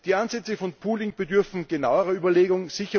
Die Ansätze von Pooling bedürfen genauerer Überlegung.